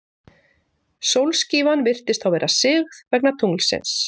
sólskífan virðist þá vera sigð vegna tunglsins